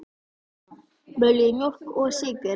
Viljið þið mjólk og sykur?